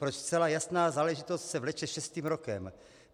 Proč zcela jasná záležitost se vleče šestým rokem?